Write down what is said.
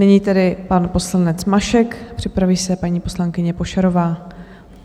Nyní tedy pan poslanec Mašek, připraví se paní poslankyně Pošarová.